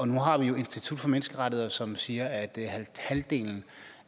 nu har vi jo institut for menneskerettigheder som siger at halvdelen